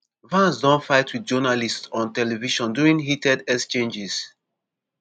vance don fight wit journalists on television during heated exchanges.